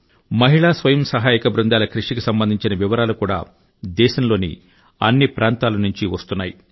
మహిళా స్వయం సహాయక బృందాల కృషి కి సంబంధించిన వివరాలు కూడా దేశంలోని అన్ని ప్రాంతాల నుండి వస్తున్నాయి